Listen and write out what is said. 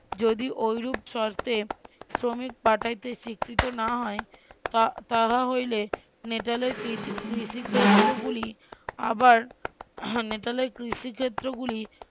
যদি ওইরূপ শর্তে শ্রমিক পাঠাইতে স্বীকৃত না হয় তাহা হইলে নেহালের কৃষি কৃষি ক্ষেত্রগুলি আবার নেহালের কৃষি ক্ষেত্রগুলি